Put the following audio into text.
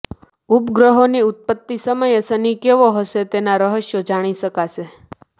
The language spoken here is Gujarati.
ઉપગ્રહોની ઉત્પત્તિ સમયે શનિ કેવો હશે તેનાં રહસ્યો જાણી શકાશે